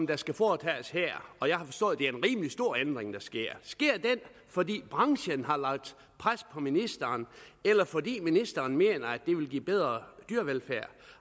der skal foretages her og jeg har forstået at det er en rimelig stor ændring der sker fordi branchen har lagt pres på ministeren eller fordi ministeren mener at det vil give bedre dyrevelfærd